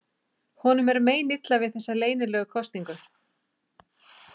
Honum er meinilla við þessa leynilegu kosningu.